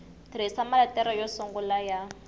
tirhisa maletere yo sungula ya